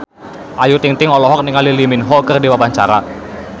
Ayu Ting-ting olohok ningali Lee Min Ho keur diwawancara